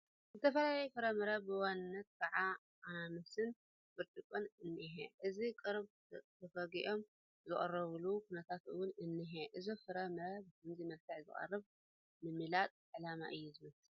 ዝተፈላለዩ ፍረ ምረ ብዋናነት ከዓ ኣናናስን ብርጭቕን እኒሀ፡፡ እዞም ቀረብ ተፈጊኦም ዝቐረቡሉ ኩነታት እውን እኒሀ፡፡ እዞም ፍረ ምረ ብኸምዚ መልክዕ ዝቐረቡ ንምላጥ ዕላማ እዩ ዝመስል፡፡